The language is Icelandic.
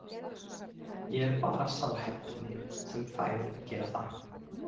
Ég er bara sá heppni sem fær að gera það.